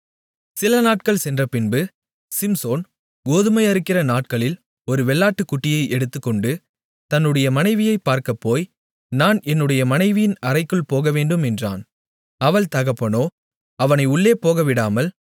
சிலநாட்கள் சென்றபின்பு சிம்சோன் கோதுமை அறுக்கிற நாட்களில் ஒரு வெள்ளாட்டுக்குட்டியை எடுத்துக்கொண்டு தன்னுடைய மனைவியைப் பார்க்கப்போய் நான் என்னுடைய மனைவியின் அறைக்குள் போகவேண்டும் என்றான் அவள் தகப்பனோ அவனை உள்ளேபோகவிடாமல்